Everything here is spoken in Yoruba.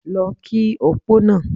Lọ kí opó náà!